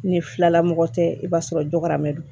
Ni filalamɔgɔ tɛ i b'a sɔrɔ dɔgɔ don